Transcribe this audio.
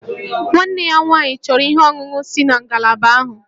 Nwanne ya nwaanyị chọrọ ihe ọṅụṅụ si na ngalaba ahụ